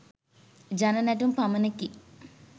ජන නැටුම් පමණකි.